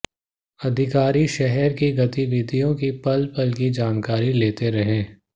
अधिकारी शहर की गतिविधियों की पल पल की जानकारी लेते रहे